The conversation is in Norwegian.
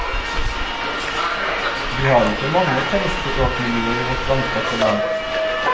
Vi har ikke mange tegnspråkmiljøer i vårt langstrakte land.